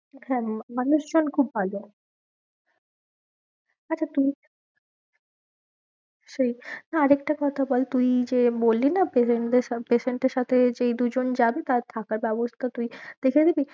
হ্যাঁ মানুষজন খুব ভালো। আচ্ছা তুই সেই আর একটা কথা বল তুই যে বলি না এর সাথে patient এর সাথে যেই দুজন যাবে তার থাকার ব্যবস্থা তুই দেখে দিবি।